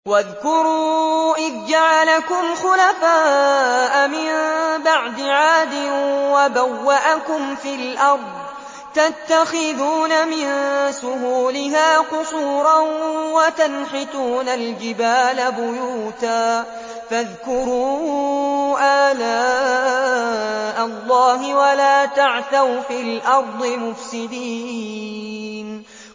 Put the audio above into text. وَاذْكُرُوا إِذْ جَعَلَكُمْ خُلَفَاءَ مِن بَعْدِ عَادٍ وَبَوَّأَكُمْ فِي الْأَرْضِ تَتَّخِذُونَ مِن سُهُولِهَا قُصُورًا وَتَنْحِتُونَ الْجِبَالَ بُيُوتًا ۖ فَاذْكُرُوا آلَاءَ اللَّهِ وَلَا تَعْثَوْا فِي الْأَرْضِ مُفْسِدِينَ